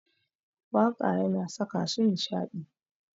Waƙa yana saka su nishaɗi.